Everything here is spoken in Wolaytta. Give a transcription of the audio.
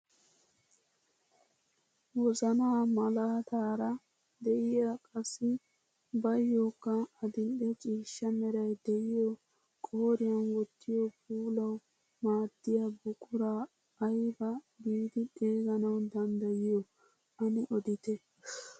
Wozanaa malaataara de'iyaa qassi baayokka adil'e ciishsha meray de'iyoo qooriyaan wottiyoo puulawu maaddiyaa buquraa aybaa giidi xeganawu danddayiyoo ane odite?